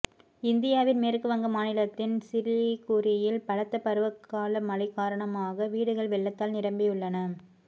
இந்தியாவின் மேற்குவங்க மாநிலத்தின் சிலிகுரியில் பலத்த பருவகால மழை காரணமான வீடுகள் வெள்ளத்தால் நிரம்பியுள்ளன